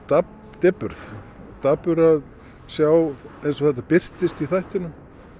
depurð dapur að sjá eins og þetta birtist í þættinum